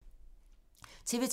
TV 2